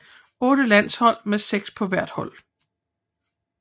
Otte landshold med seks på hvert hold